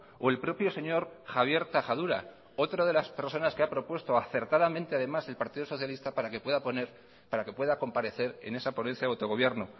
o el propio señor javier tajadura otra de las personas que ha propuesto acertadamente además el partido socialista para que pueda poner para que pueda comparecer en esa ponencia de autogobierno